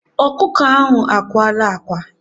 Ọkụkọ ahụ akwala ákwá.